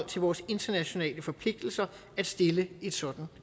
til vores internationale forpligtelser at stille et sådant